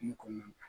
Kungo kɔnɔna na